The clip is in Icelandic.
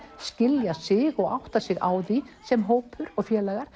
skilja sig og átta sig á því sem hópur og félagar